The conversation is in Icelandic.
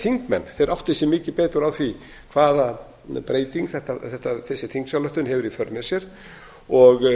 þingmenn átti sig mikið betur á því hvaða breytingu þessi þingsályktun hefur í för með sér og